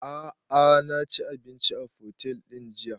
A'a na ci abinci a otel ɗin jiya